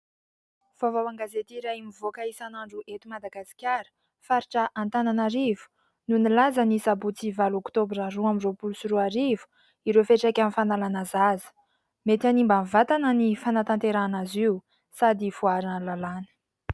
Vaovao an-gazety iray mivoaka isan'andro eto Madagasikara, faritra Antananarivo no nilaza ny sabotsy valo oktobra roa amby roapolo sy roa arivo, ireo fiantraikan'ny fanalana zaza. Mety hanimba ny vatana ny fanatanterahana azy io sady voararan'ny lalàna.